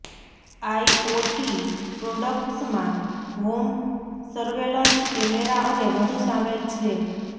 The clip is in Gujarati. આઇઓટી પ્રોડક્ટ્સમાં હોમ સર્વેલન્સ કેમેરા અને વધુ શામેલ છે